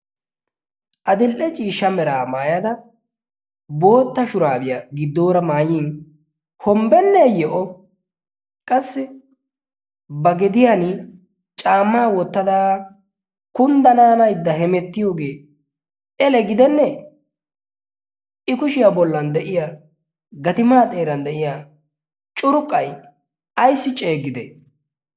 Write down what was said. adil''e ciishsha meraa maayada bootta shuraabiyaa giddoora maayyin hombbenneeyyo o qassi ba gediyan caammaa wottada kunddanaanaidda hemettiyoogee ele gidennee i kushiyaa bollan de'iya gatimaa xeeran de'iya curqqai ayssi ceegide